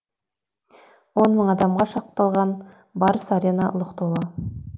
он мың адамға шақталған барыс арена лық толды